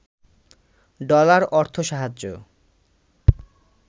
dollar অর্থ সাহায্য